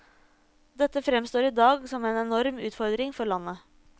Dette fremstår i dag som en enorm utfordring for landet.